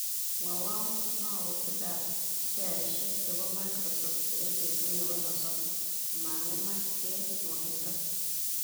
Mwawon maotiikap sheaiksiek chebo microsoft eng' petut ne po sosom komang'emak eng' nwogiindo